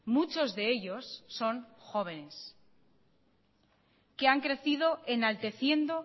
muchos de ellos son jóvenes que han crecido enalteciendo